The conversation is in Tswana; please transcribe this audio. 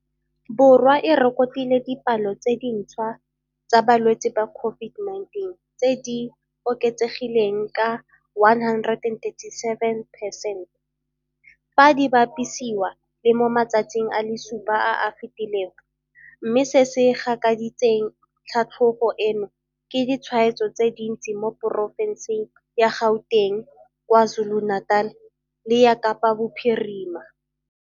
Borwa e rekotile dipalo tse dintšhwa tsa balwetse ba COVID-19 tse di oketsegileng ka 137 percent, fa di bapisiwa le mo matsatsing a le supa a a fetileng, mme se se gakaditseng tlhatlhogo eno ke ditshwaetso tse dintsi mo porofenseng ya Gauteng, KwaZulu-Natal le ya Kapa Bophirima.